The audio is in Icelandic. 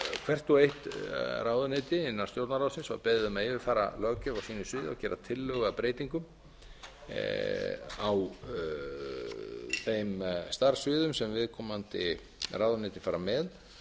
hvert og eitt ráðuneyti innan stjórnarráðsins var beðið um að yfirfara löggjöf á sínu sviði og gera tillögu að breytingum á þeim starfssviðum sem viðkomandi ráðuneyti fara með